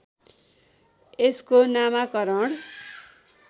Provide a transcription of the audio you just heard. यसको नामकरण